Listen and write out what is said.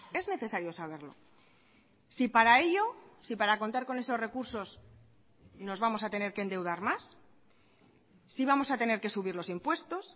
es necesario saberlo si para ello si para contar con esos recursos nos vamos a tener que endeudar más si vamos a tener que subir los impuestos